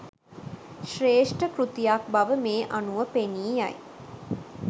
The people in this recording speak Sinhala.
ශ්‍රේෂ්ඨ කෘතියක් බව මේ අනුව පෙනීයයි.